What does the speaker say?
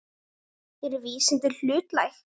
Eru vísindin hlutlæg?